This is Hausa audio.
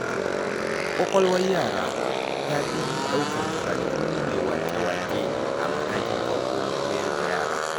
Ƙwaƙwalwar yara tafi ɗaukar karatu mai wake-waƙe a matakin farko na koyar da yara.